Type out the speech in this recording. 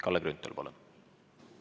Kalle Grünthal, palun!